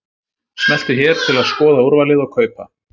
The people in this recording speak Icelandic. Smelltu hér til að skoða úrvalið og kaupa.